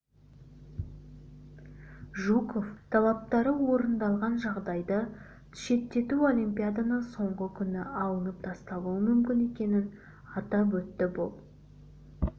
жуков талаптары орындалған жағдайды ты шеттету олимпиаданың соңғы күні алынып тасталуы мүмкін екенін атап өтті бұл